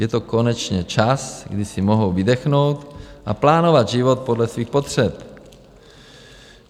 Je to konečně čas, kdy si mohou vydechnout a plánovat život podle svých potřeb.